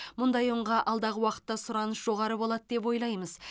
мұндай ұнға алдағы уақытта сұраныс жоғары болады деп ойлаймыз